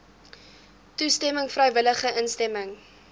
toestemming vrywillige instemming